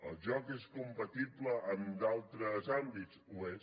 el joc és compatible amb d’altres àmbits ho és